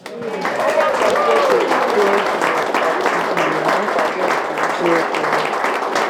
Ọgbakọ ndị etere ude bụ "ógidi na nkwado nke eziokwu."